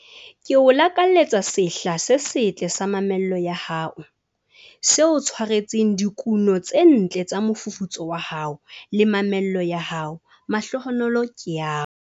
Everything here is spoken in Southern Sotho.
Ke o lakaletsa sehla se setle sa mamello ya hao, se o tshwaretseng dikuno tse ntle tsa mofufutso wa hao le mamello ya hao mahlohonolo ke ao.